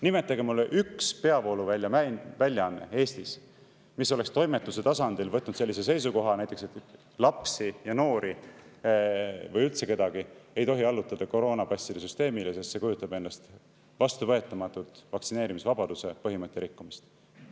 Nimetage mulle üks peavooluväljaanne Eestis, mis oleks toimetuse tasandil võtnud sellise seisukoha, et näiteks lapsi ja noori või üldse kedagi ei tohi allutada koroonapasside süsteemile, sest see kujutab endast vastuvõetamatut vaktsineerimisvabaduse põhimõtte rikkumist.